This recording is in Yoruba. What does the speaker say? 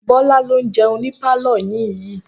Bọ́lá ló ń jẹun ní pálọ̀ yín yii